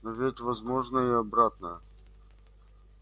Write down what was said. но ведь возможно и обратное